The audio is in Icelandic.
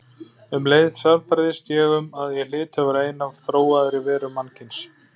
Um leið sannfærðist ég um að ég hlyti að vera ein af þróaðri verum mannkyns.